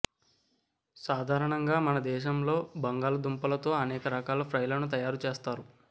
సాధారణంగా మన దేశంలో బంగాళదుంపలతో అనేక రకాల ఫ్రైలను తయారు చేస్తారు